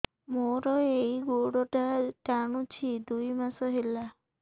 ମୋର ଏଇ ଗୋଡ଼ଟା ଟାଣୁଛି ଦୁଇ ମାସ ହେଲା